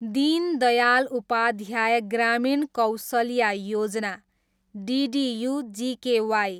दिन Dayal Upadhyaya Grameen Kaushalya Yojana, DDU GKY